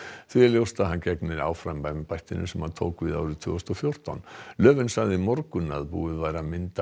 því er ljóst að hann gegnir áfram embættinu sem hann tók við árið tvö þúsund og fjórtán sagði í morgun að búið væri að mynda